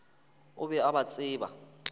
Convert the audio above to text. o be a ba tseba